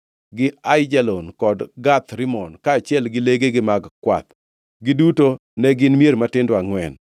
gi Aijalon kod Gath Rimon, kaachiel gi legegi mag kwath. Giduto ne gin mier matindo angʼwen.